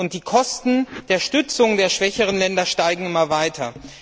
Und die Kosten der Stützung der schwächeren Länder steigen immer weiter.